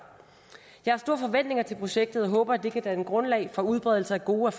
jeg har store forventninger til projektet og håber at det kan danne grundlag for udbredelse af gode